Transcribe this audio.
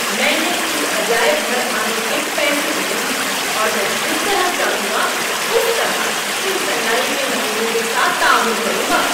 میں نے اس عجائب گھر آنے کے پیسے دیے ہیں، اور میں جس طرح چاہوں گا اس طرح ان صناعی کے نمونوں کے ساتھ تعامل کروں گا۔